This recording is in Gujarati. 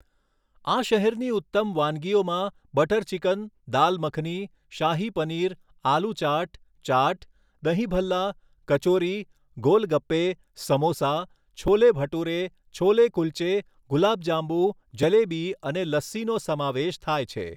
આ શહેરની ઉત્તમ વાનગીઓમાં બટર ચિકન, દાલ મખની, શાહી પનીર, આલૂ ચાટ, ચાટ, દહીં ભલ્લા, કચોરી, ગોલ ગપ્પે, સમોસા, છોલે ભટૂરે, છોલે કુલ્ચે, ગુલાબ જાંબુ, જલેબી અને લસ્સીનો સમાવેશ થાય છે.